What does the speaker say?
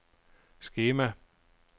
skema